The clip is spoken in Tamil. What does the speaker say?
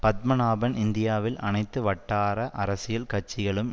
பத்மநாபன் இந்தியாவில் அனைத்து வட்டார அரசியல் கட்சிகளும்